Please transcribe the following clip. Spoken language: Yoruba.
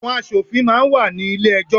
Àwọn asòfin máa ń wà ní ilé ẹjọ́.